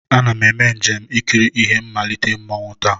Ana m eme njem ikiri ihe mmalite mmanwụ taa.